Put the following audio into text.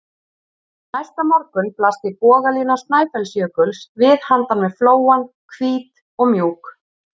Næsta morgun blasti bogalína Snæfellsjökuls við handan við flóann, hvít og mjúk.